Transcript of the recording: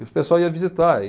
E o pessoal ia visitar.